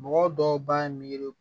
Mɔgɔ dɔw b'a ye miiri